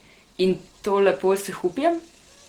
In to lepo s Hupijem?